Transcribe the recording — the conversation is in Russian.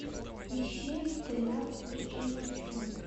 ищи тринадцать причин почему